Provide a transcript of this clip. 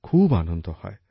খুব আনন্দ হয়